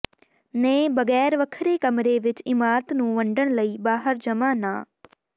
ਨੇ ਬਗੈਰ ਵੱਖਰੇ ਕਮਰੇ ਵਿੱਚ ਇਮਾਰਤ ਨੂੰ ਵੰਡਣ ਲਈ ਬਾਹਰ ਜਮਾ ਨਾ